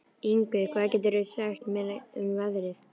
Yngvi, hvað geturðu sagt mér um veðrið?